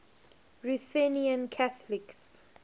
ruthenian catholics